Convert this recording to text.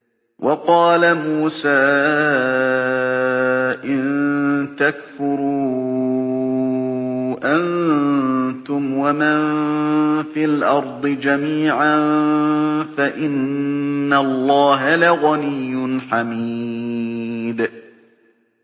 وَقَالَ مُوسَىٰ إِن تَكْفُرُوا أَنتُمْ وَمَن فِي الْأَرْضِ جَمِيعًا فَإِنَّ اللَّهَ لَغَنِيٌّ حَمِيدٌ